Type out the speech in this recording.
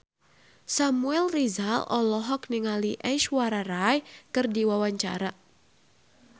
Samuel Rizal olohok ningali Aishwarya Rai keur diwawancara